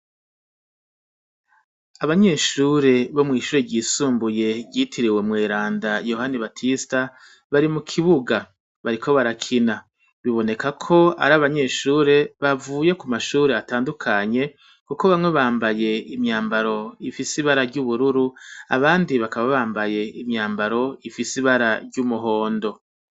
Abanyeshure bo mw'ishure ryisumbuye ryitiriwe mweranda Yohani Batista bari mu kibuga. Bariko barakina. Biboneka ko ari abanyeshure bavuye ku mashure atandukanye kuko bamwe bambaye imyambaro ifise ibara ry'ubururu, abandi bakaba bambaye imyambaro ifise ibara ry'umuhondo.